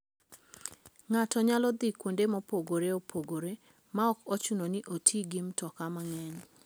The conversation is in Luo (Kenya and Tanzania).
Ng'ato nyalo dhi kuonde mopogore opogore maok ochuno ni oti gi mtoka mang'eny.